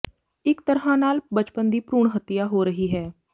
ਇੱਕ ਤਰ੍ਹਾਂ ਨਾਲ ਬਚਪਨ ਦੀ ਭਰੂਣ ਹੱਤਿਆ ਹੋ ਰਹੀ ਹੈ